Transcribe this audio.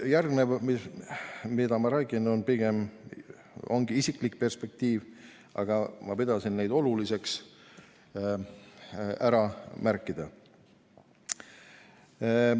Järgnev, mida ma räägin, ongi pigem isiklik perspektiiv, aga ma pidasin oluliseks seda ära märkida.